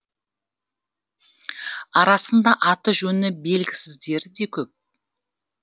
арасында аты жөні белгісіздері де көп